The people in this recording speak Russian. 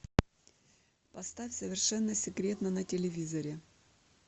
поставь совершенно секретно на телевизоре